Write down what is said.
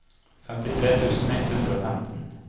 femtitre tusen ett hundre og femten